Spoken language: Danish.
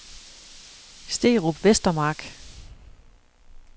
Sterup Vestermark